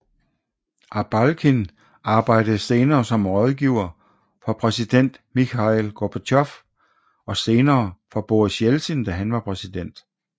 Abalkin arbejdede senere som rådgiver for præsident Mikhail Gorbatjov og senere for Boris Jeltsin da han var præsident